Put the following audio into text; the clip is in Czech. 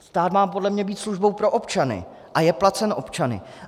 Stát má podle mě být službou pro občany a je placen občany.